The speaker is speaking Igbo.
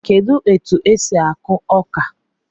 Kedụ etu e si akụ ọka?